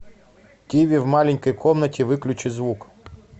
тиви в маленькой комнате выключи звук